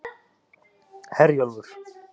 Herjólfur